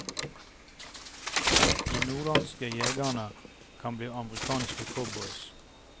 De norrlandske jegerne kan bli amerikanske cowboys.